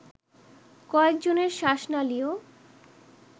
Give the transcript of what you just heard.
কয়েকজনের শ্বাসনালীও